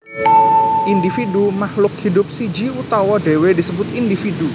Individu Makhluk hidup siji utawa dhewe disebut individu